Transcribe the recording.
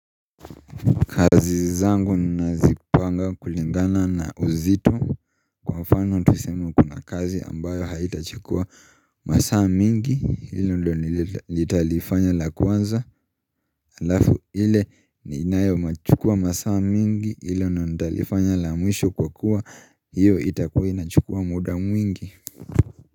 Kazi zangu nazipanga kulingana na uzito kwa fano tusema kuna kazi ambayo haitachukua masaa mingi ilo ndo nilitalifanya la kwanza alafu ile ninayo machukua masaa mingi ilo ndalifanya la mwisho kwa kuwa hiyo itakuwa inachukua muda mwingi.